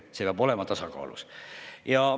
See peab olema muidugi tasakaalus.